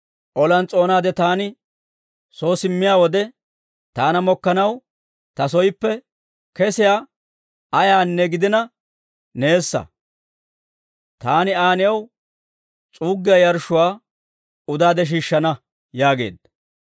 olan s'oonaade taani soo simmiyaa wode, taana mokkanaw ta sooppe kesiyaawe ayaanne gidina neessa; taani Aa new s'uuggiyaa yarshshuwaa udaade shiishshana» yaageedda.